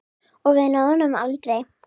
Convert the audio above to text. Og við náðum honum aldrei.